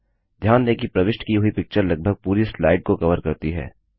ध्यान दें कि प्रविष्ट की हुई पिक्चर लगभग पूरी स्लाइड को कवर करती है